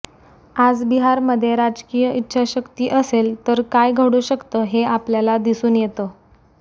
आज बिहारमध्ये राजकीय ईच्छाशक्ती असेल तर काय घडू शकतं हे आपल्याला दिसून येतं